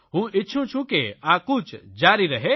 હું ઇચ્છું છું કે આ કૂચ જારી રહે